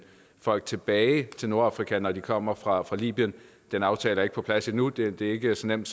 folk tilbage til nordafrika når de kommer fra libyen den aftale er ikke på plads endnu det er ikke så nemt